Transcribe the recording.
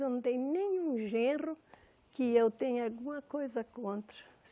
Eu não tenho nenhum genro que eu tenha alguma coisa contra.